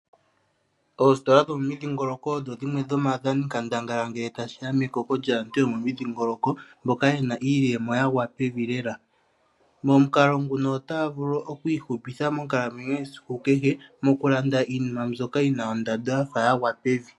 Oositola dhomomidhingoloko odho dhimwe dhomaadhani nkandangala ngele tashi ya mekoko lyaantu yomomidhingoloko mboka yena iiyemo yagwa pevi lela. Momukalo nguno otaya vulu oku ihupitha monkalamwenyo yesiku kehe moku landa iinima mbyoka yina ondando yafa yagwa pevi.